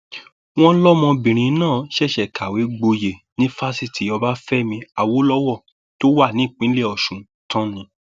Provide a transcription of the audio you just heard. wọn lọmọbìnrin náà ṣẹṣẹ kàwé gboyè ní fásitì ọbáfẹmi awolowo tó wà nípìnlẹ ọsùn tán ni